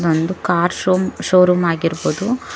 ಒಂದು ಕಾರ್ ಶೋಮ್ ಷೋರೂಮ್ ಆಗಿರ್ಬೋದು.